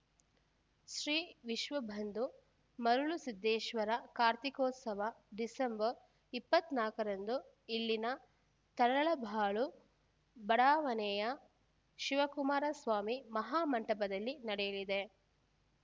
ಶ್ರೀ ವಿಶ್ವ ಬಂಧು ಮರುಳಸಿದ್ದೇಶ್ವರ ಕಾರ್ತಿಕೋತ್ಸವ ಡಿಸೆಂಬರ್ ಇಪ್ಪತ್ತ್ ನಾಕರಂದು ಇಲ್ಲಿನ ತರಳಬಾಳು ಬಡಾವಣೆಯ ಶಿವಕುಮಾರ ಸ್ವಾಮಿ ಮಹಾಮಂಟಪದಲ್ಲಿ ನಡೆಯಲಿದೆ